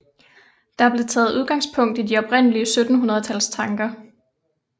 Der blev taget udgangspunkt i de oprindelige 1700 tals tanker